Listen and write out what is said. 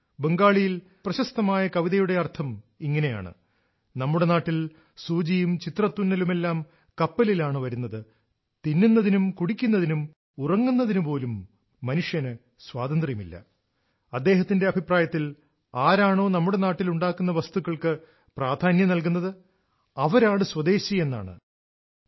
അദ്ദേഹത്തിന്റെ അഭിപ്രായത്തിൽ ഇന്ത്യൻ ജോലിക്കാരും കരകൌശല വിദഗ്ധരും നിർമ്മിക്കുന്ന വസ്തുക്കൾക്ക് പ്രാധാന്യം നൽകുന്നതാണ് സ്വദേശി എന്നതുകൊണ്ടുദ്ദേശിക്കുന്നത്